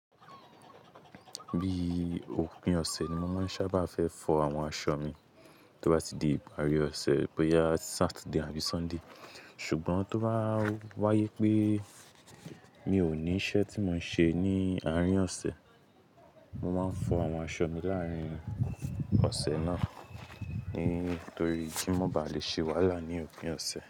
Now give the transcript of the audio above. Bí ópin ọ̀sẹ̀ ni mo máa ń sábà fẹ́ fọ àwọn aṣọ mi, tó bá ti di ìparí ọ̀sẹ̀ bo yá Saturday àbí Sunday. Ṣùgbọ́n tó bá wáyé pé mi ò ní iṣẹ́ tí mo ń ṣe ní àárín ọ̀sẹ̀, mo máa ń fọ àwọn aṣọ mi láàrín ọ̀sẹ̀ náà. Nítorí kí n má ba à lè ṣèwálà ní òpin ọ̀sẹ̀.